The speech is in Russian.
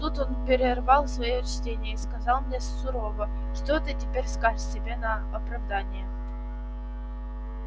тут он перервал своё чтение и сказал мне сурово что ты теперь скажешь себе на оправдание